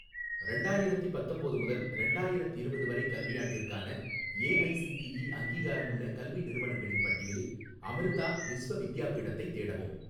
ரெண்டாயிரத்தி பத்தொம்போது முதல் ரெண்டாயிரத்திரவது வரை கல்வியாண்டிற்கான ஏஐசிடிஇ அங்கீகாரமுள்ள கல்வி நிறுவனங்களின் பட்டியலில் அமிர்தா விஸ்வ வித்யாபீடத்தை தேடவும்